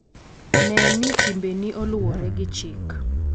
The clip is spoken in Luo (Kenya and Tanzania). Ne ni timbeni oluwore gi chik.